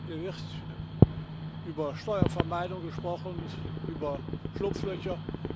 Hier wird über Steuervermeidung gesprochen und über Schlupflöcher.